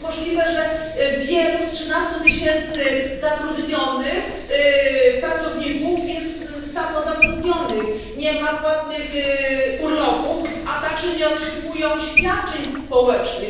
Jak to możliwe, że wielu z trzynastu tysięcy zatrudnionych pracowników jest samozatrudnionych, nie ma płatnych urlopów i nie otrzymuje świadczeń społecznych?